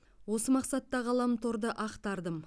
осы мақсатта ғаламторды ақтардым